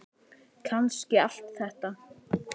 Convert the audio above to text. Kannski allt þetta.